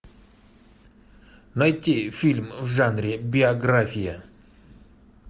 найти фильм в жанре биография